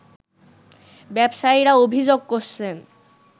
ব্যবসায়ীরা অভিযোগ করছেন